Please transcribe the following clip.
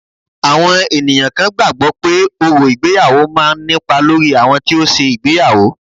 Àwọn ènìyàn kan gbàgbọ́ pé, orò ìgbéyàwó máa ń nípa lórí àwọn tí ó ṣe ìgbéyàwó